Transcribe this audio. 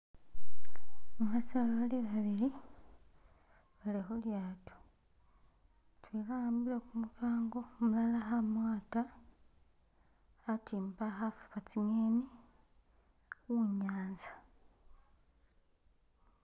Basoleli bali babili bali khu lyato, mutwela a'ambile kumukango, umulala kha mwata khatimba khafukha tsi'ngeni khunyanza.